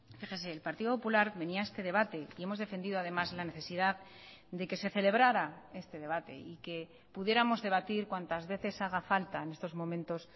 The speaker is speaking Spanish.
fíjese el partido popular venía a este debate y hemos defendido además la necesidad de que se celebrara este debate y que pudiéramos debatir cuantas veces haga falta en estos momentos